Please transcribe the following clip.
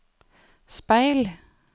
speil